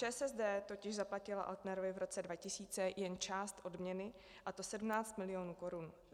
ČSSD totiž zaplatila Altnerovi v roce 2000 jen část odměny, a to 17 mil. korun.